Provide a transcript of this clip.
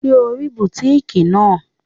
Ṣé o rí bùtíkìì náà?